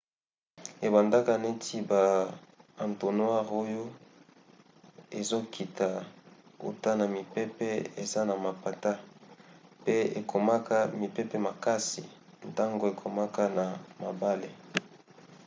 ebandaka neti ba entonnoirs oyo ezokita uta na mipepe eza na mapata pe ekomaka mipepe makasi ntango ekomaka na mabele